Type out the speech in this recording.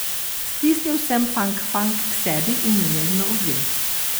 Stisnil sem Fangfang k sebi in jo nežno objel.